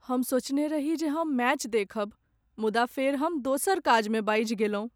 हम सोचने रही जे हम मैच देखब मुदा फेर हम दोसर काजमे बाझि गेलहुँ।